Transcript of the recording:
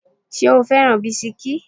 Ṣo fẹ́ràn bisikí?